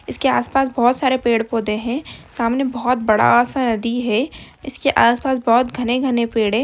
इसके आस-पास बहोत सारे पेड़-पोधे है सामने बहोत बड़ा सा नदी है इसके आस-पास बहोत घने-घने पेड़ है।